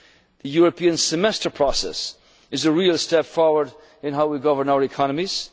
two pack very soon. The European Semester Process is a real step forward in how we